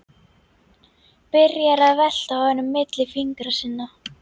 Byrjar að velta honum milli fingra sinna.